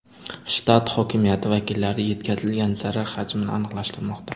Shtat hokimiyati vakillari yetkazilgan zarar hajmini aniqlashtirmoqda.